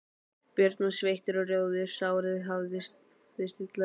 Björn var sveittur og rjóður, sárið hafðist illa við.